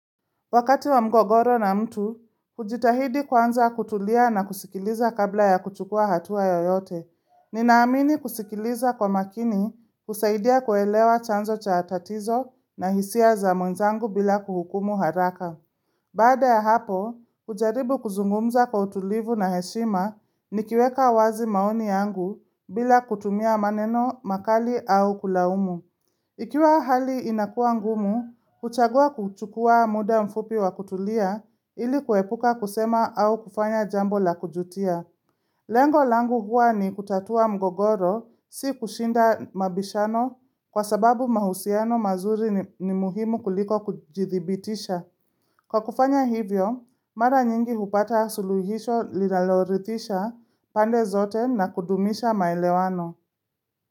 Wakati wa mgogoro na mtu, kujitahidi kwanza kutulia na kusikiliza kabla ya kuchukua hatua yoyote. Ninaamini kusikiliza kwa makini husaidia kuelewa chanzo cha tatizo na hisia za mwenzangu bila kuhukumu haraka. Baada ya hapo, kujaribu kuzungumza kwa utulivu na heshima nikiweka wazi maoni yangu bila kutumia maneno makali au kulaumu. Ikiwa hali inakua ngumu, kuchagua kuchukua muda mfupi wa kutulia ili kuepuka kusema au kufanya jambo la kujitia. Lengo langu huwa ni kutatua mgogoro, si kushinda mabishano kwa sababu mahusiano mazuri ni muhimu kuliko kujithibitisha. Kwa kufanya hivyo, mara nyingi hupata suluhisho linaloritisha pande zote na kudumisha maelewano.